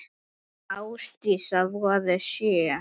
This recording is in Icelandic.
Börn Ásdísar voru sjö.